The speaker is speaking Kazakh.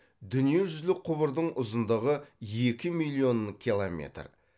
дүние жүзілік құбырдың ұзындығы екі миллион километр